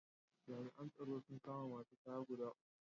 Jami’an tsaro sun kama wasu kaya guda uku.